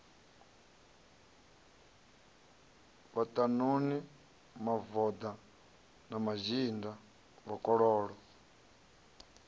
vhaṱanuni mavoḓa na mazhinda vhakololo